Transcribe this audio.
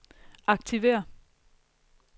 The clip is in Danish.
aktiver